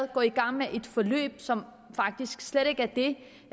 går i gang med et forløb som faktisk slet ikke er det